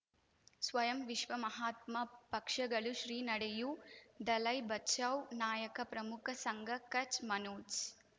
ಸ್ವಯಂ ವಿಶ್ವ ಮಹಾತ್ಮ ಪಕ್ಷಗಳು ಶ್ರೀ ನಡೆಯೂ ದಲೈ ಬಚೌ ನಾಯಕ ಪ್ರಮುಖ ಸಂಘ ಕಚ್ ಮನೋಜ್